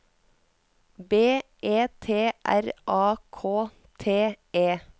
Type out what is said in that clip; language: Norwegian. B E T R A K T E